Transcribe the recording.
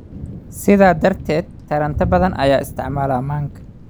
Sidaa darteed, taranta badan ayaa isticmaala manka